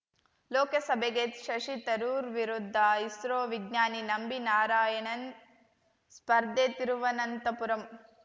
ಲೋಕಸಭೆಗೆ ಶಶಿ ತರೂರ್‌ ವಿರುದ್ಧ ಇಸ್ರೋ ವಿಜ್ಞಾನಿ ನಂಬಿ ನಾರಾಯಣನ್‌ ಸ್ಪರ್ಧೆ ತಿರುವನಂತಪುರಂ